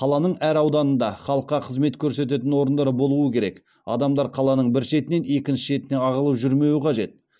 қаланың әр ауданында халыққа қызмет көрсететін орындар болуы керек адамдар қаланың бір шетінен екінші шетіне ағылып жүрмеуі қажет